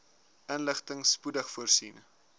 inligting spoedig voorsien